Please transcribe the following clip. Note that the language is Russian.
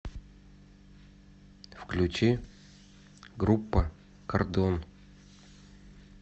включи группа кордон